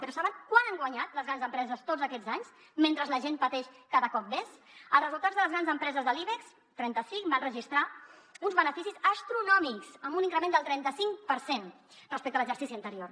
però saben quant han guanyat les grans empreses tots aquests anys mentre la gent pateix cada cop més els resultats de les grans empreses de l’ibex trenta cinc van registrar uns beneficis astronòmics amb un increment del trenta cinc per cent respecte a l’exercici anterior